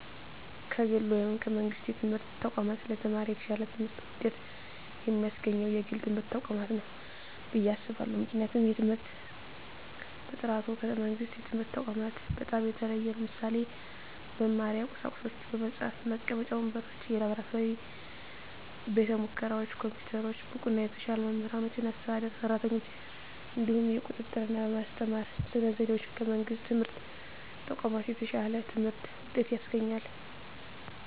ከግል ወይም ከመንግሥት የትምህርት ተቋማት ለተማሪ የተሻለ ትምህርት ውጤት የሚያስገኘው የግል ትምህርት ተቋማት ነው ብየ አስባለሁ ምክንያቱም የትምህርት በጥራቱ ከመንግስት የትምህርት ተቋማት በጣም የተሻለ ነው ለምሳሌ - በመማሪያ ቁሳቁሶች በመፅሀፍ፣ መቀመጫ ወንበሮች፣ የላብራቶሪ ቤተሙከራዎች፣ ኮምፒውተሮች፣ ብቁና የተሻሉ መምህራኖችና አስተዳደር ሰራተኞች፣ እንዲሁም የቁጥጥ ርና በማስተማር ስነ ዘዴዎች ከመንግስት የትምህርት ተቋማት የተሻለ የትምህርት ውጤት ያስገኛል።